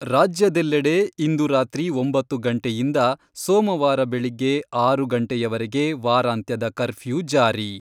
ರಾಜ್ಯದೆಲ್ಲೆಡೆ ಇಂದು ರಾತ್ರಿ ಒಂಬತ್ತು ಗಂಟೆಯಿಂದ ಸೋಮವಾರ ಬೆಳಿಗ್ಗೆ ಆರು ಗಂಟೆಯವರೆಗೆ ವಾರಾಂತ್ಯದ ಕರ್ಪ್ಯೂ ಜಾರಿ.